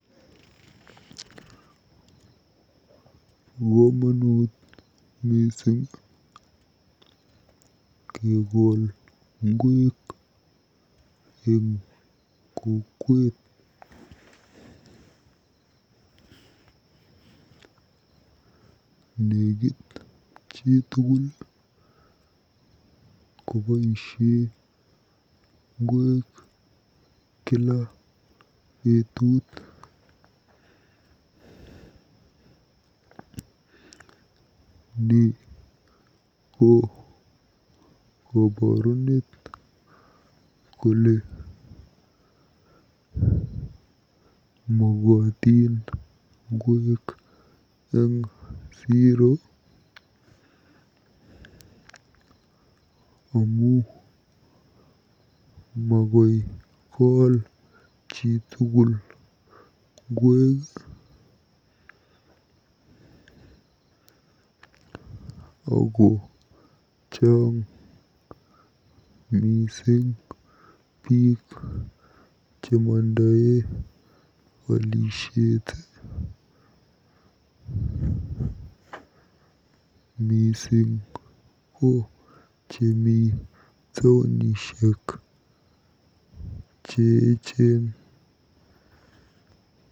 Bo komonut mising kekol ngweek eng kokwet. Nekit chitugul koboisie ngweek kila betuut. Ni ko koborunet kole mokotin ngweek eng siro amu makoi kol chitugul ngweek ako chaang mising biiik chemondoe olisiet mising ko chemi taonisiek cheechen.